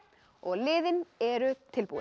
og liðin eru tilbúin